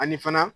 Ani fana